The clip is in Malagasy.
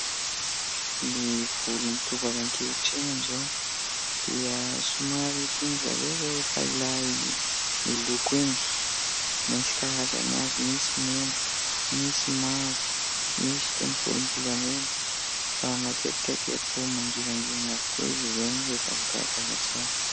Ny volon'ny tovovavy ankehitriny amin'izao dia somary tian'izy ireo rehefa ilay miloko iny, misy karazany avy : misy mena, misy mavo, misy toy ny volombolamena fa matetika dia toa mangirangirana avokoa izy ireny rehefa voakarakara tsara.